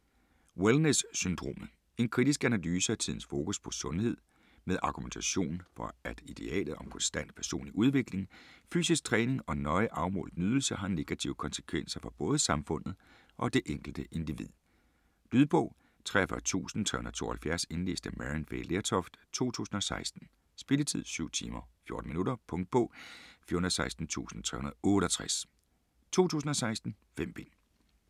Wellness syndromet En kritisk analyse af tidens fokus på sundhed, med argumentation for at idealet om konstant personlig udvikling, fysisk træning og nøje afmålt nydelse har negative konsekvenser for både samfundet og det enkelte individ. Lydbog 43372 Indlæst af Maryann Fay Lertoft, 2016. Spilletid: 7 timer, 14 minutter. Punktbog 416368 2016. 5 bind.